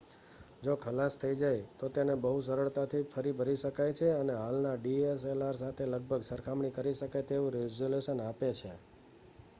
જો ખલાસ થઈ જાય તો તેને બહુ સરળતાથી ફરી ભરી શકાય છે અને હાલના dslr સાથે લગભગ સરખામણી કરી શકાય તેવું રેઝલૂશન આપે છે